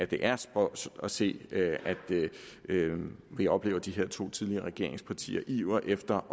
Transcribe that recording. det er spøjst at se at vi oplever de her to tidligere regeringspartiers iver efter